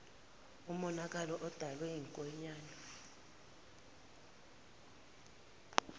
umonakale odalwe yinkonyane